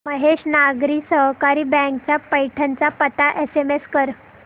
Mahesh Nagari Sahakari bank चा पैठण चा पत्ता मला एसएमएस कर